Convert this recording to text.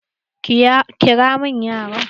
Ƙira min yaran!